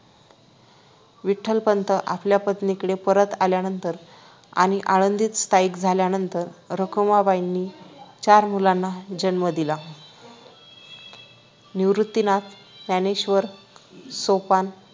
विठ्ठलपंत आपल्या पत्नीकडे परत आल्यानंतर आणि आळंदीत स्थायिक झाल्यानंतर रखुमाईबाईनी चार मुलांना जन्म दिला निवृत्तीनाथ ज्ञानेश्वर सोपान